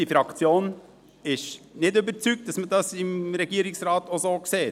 Unsere Fraktion ist nicht überzeugt, dass man das im Regierungsrat auch so sieht.